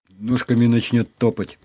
ножками начнёт топать